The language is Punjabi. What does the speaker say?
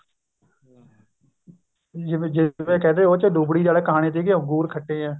ਜਿਵੇਂ ਕਹਿੰਦੇ ਉਹ ਚ ਲੂੰਬੜੀ ਆਲੀ ਕਹਾਣੀ ਤੀ ਅੰਗੂਰ ਖੱਟੇ ਏ